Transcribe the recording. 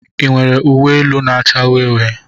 Ị nwere uwe elu na-acha uhie uhie?